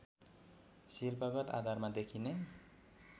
शिल्पगत आधारमा देखिने